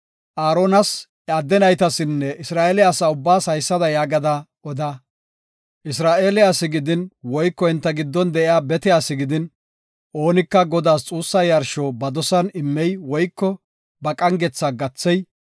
“Aaronas, iya adde naytasinne Isra7eele asa ubbaas haysada yaagada oda; Isra7eele asi gidin woyko enta giddon de7iya bete asi gidin, oonika Godaas xuussa yarsho ba dosan immey woyko ba qangetha gathey,